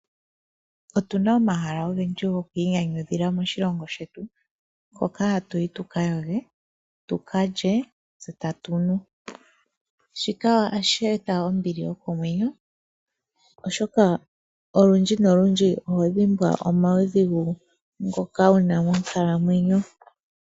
Otuna omahala ogendji gokwiinyanyudhila moshilongo shetu, nkoka hatuyi tuka yoge , tuka lye tse tukanwe. Shika ohashi eta ombili yokomwenyo olundji nolundji nohovulu okudhimbwa omaudhigu ngoka wuna monkalamwenyo.